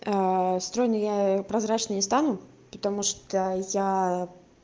стройной я прозрачной не стану потому что я